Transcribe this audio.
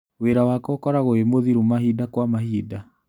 Wĩra wakwa ũkoragwo wĩmũritũ mahinda kwa mahinda.